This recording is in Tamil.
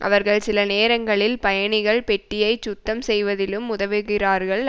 அவர்கள் சில நேரங்களில் பயணிகள் பெட்டியைச் சுத்தம் செய்வதிலும் உதவுகிறார்கள்